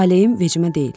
Taleyim vecimə deyil.